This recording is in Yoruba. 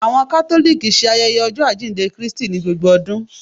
Awọn Catholic ṣe ayẹyẹ Ọjọ ajínde Krístí ni gbógbó ọdún